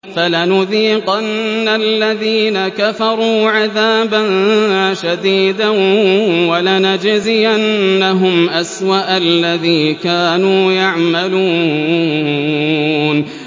فَلَنُذِيقَنَّ الَّذِينَ كَفَرُوا عَذَابًا شَدِيدًا وَلَنَجْزِيَنَّهُمْ أَسْوَأَ الَّذِي كَانُوا يَعْمَلُونَ